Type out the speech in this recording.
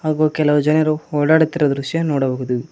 ಹಾಗು ಕೆಲವು ಜನರು ಓಡಾಡುತ್ತಿರುವ ದೃಶ್ಯ ನೋಡಬಹುದು.